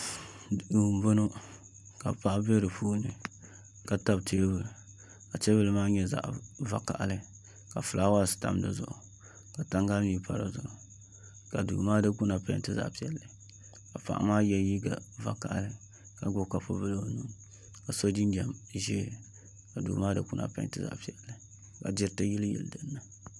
Duu n boŋo ka paɣa bɛ di puuni ka tabi teebuli ka teebuli maa nyɛ zaɣ vakaɣali ka fulaawaasi tam dizuɣu ka tangali mii pa dizuɣu ka duu maa dikpuna peenti zaɣ piɛlli ka paɣa maa yɛ liiga vakaɣali ka gbubi kapu bili o nuuni ka so jinjɛm ʒiɛ ka duu maa dikpuna peenti zaɣ piɛlli ka diriti yiliyili dinni